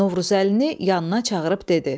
Novruzəlini yanına çağırıb dedi: